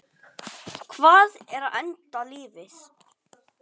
Hvað er enda lífið?